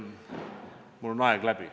Mul on aeg läbi.